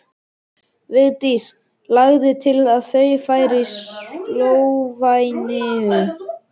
Vigdís lagði til að þau færu til Slóveníu.